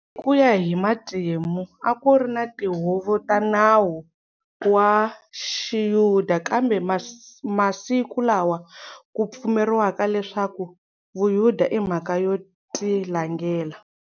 Hikuya hi matimu akuri na tihuvo ta nawu wa xiyuda, kambe masku lawa ku pfumeriwaka leswaku vuyuda imhaka yo tilangela.